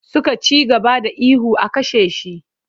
Suka ci gaba da ihu 'a kashe shi!'